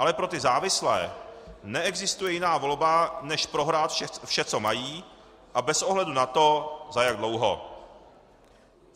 Ale pro ty závislé neexistuje jiná volba, než prohrát vše, co mají, a bez ohledu na to, za jak dlouho.